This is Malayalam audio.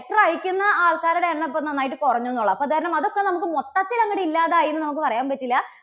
letter അയക്കുന്ന ആൾക്കാരുടെ എണ്ണം ഇപ്പോൾ നന്നായിട്ട് കുറഞ്ഞു എന്നുള്ളതാണ്. അപ്പോൾ അതുകാരണം അതൊക്കെ നമുക്ക് മൊത്തത്തിൽ അങ്ങോട്ട് ഇല്ലാതായി എന്ന് നമുക്ക് പറയാൻ പറ്റില്ല.